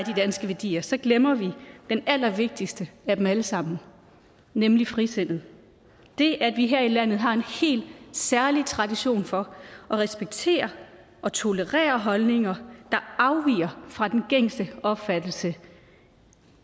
danske værdier så glemmer vi den allervigtigste af dem alle sammen nemlig frisindet det at vi her i landet har en helt særlig tradition for at respektere og tolerere holdninger der afviger fra den gængse opfattelse